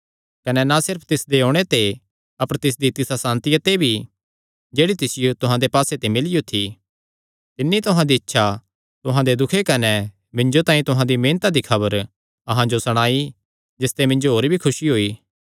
कने ना सिर्फ तिसदे ओणे ते अपर तिसदी तिसा सांतिया ते भी जेह्ड़ी तिसियो तुहां दे पास्से ते मिलियो थी तिन्नी तुहां दी इच्छा तुहां दे दुख कने मिन्जो तांई तुहां दी मेहनता दी खबर अहां जो सणाई जिसते मिन्जो होर भी खुसी होई